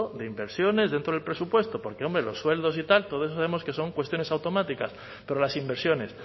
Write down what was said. de inversiones dentro del presupuesto porque hombre los sueldos y tal todo eso sabemos que son cuestiones automáticas pero las inversiones